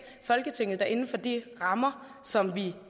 folketinget inden for de rammer som vi